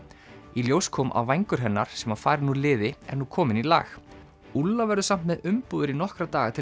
í ljós kom að vængur hennar sem var farinn úr liði er nú kominn í lag verður samt með umbúðir í nokkra daga til